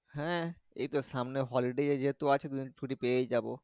হ্যাঁ এইতো সামনে holiday যেহেতু আছে দুদিন ছুটি পেয়েই যাবো।